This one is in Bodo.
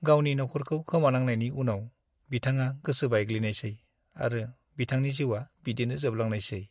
गावनि नखरखौ खोमानांनायनि उनाव, बिथाङा गोसो बायग्लिनायसै आरो बिथांनि जिउआ बिदिनो जोबलांनायसै।